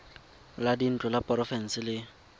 la dintlo la porofense le